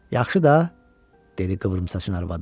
Yaxşı da, dedi qıvrımsaçın arvadı.